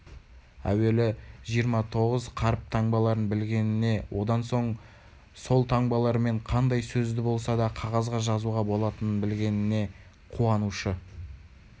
әуелі жиырма тоғыз қаріп таңбаларын білгеніне одан соң ол таңбалармен қандай сөзді болса да қағазға жазуға болатынын білгеніне қуанушы